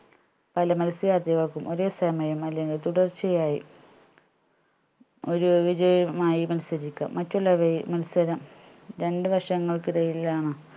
അയില് മത്സരാത്ഥികൾക്ക് ഒരേ സമയം അല്ലെങ്കിൽ തുടർച്ചയായി ഒരു വിജയമായി മത്സരിക്കാം മറ്റുള്ളവരിൽ മത്സരം രണ്ട് വർഷങ്ങൾക്കിടയിലാണ്